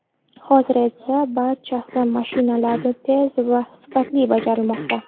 Hozir esa barchasi mashinalarda tez va sifatli bajarilmoqda.